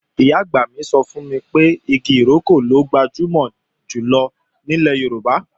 Ìyá-àgbà mi sọ fún mi pé igi ìrókò ló gbajúmọ̀ jùlọ ní ilẹ̀ Yorùbá